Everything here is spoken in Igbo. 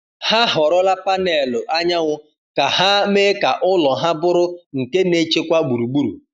Ha họrọla panelụ anyanwụ ka ha mee ka ụlọ ha bụrụ nke na-echekwa gburugburu.